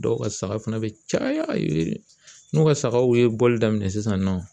Dɔw ka saga fana bɛ caya n'u ka sagaw ye bɔli daminɛ sisan nɔ